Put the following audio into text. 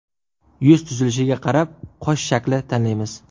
Yuz tuzilishiga qarab qosh shaklini tanlaymiz .